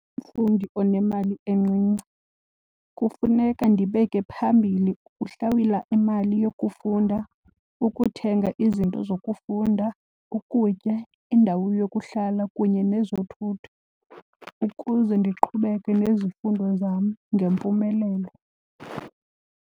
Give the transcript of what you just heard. Umfundi onemali encinci kufuneka ndibeke phambili ukuhlawula imali yokufunda, ukuthenga izinto zokufunda, ukutya, indawo yokuhlala kunye nezothutho ukuze ndiqhubeke nezifundo zam ngempumelelo.